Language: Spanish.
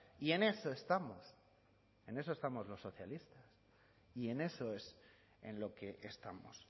y en eso estamos en eso estamos los socialistas y en eso es en lo que estamos